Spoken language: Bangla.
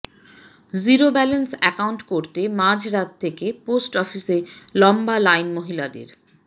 জিরো ব্যালান্স অ্যাকাউন্ট করতে মাঝরাত থেকে পোস্ট অফিসে লম্বা লাইন মহিলাদের